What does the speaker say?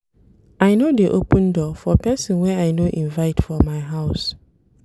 I no dey open door for pesin wey I no invite for my house.